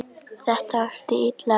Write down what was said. Þetta átti illa við